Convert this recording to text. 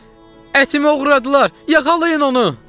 Ətimi oğradılar, yaxalayın onu!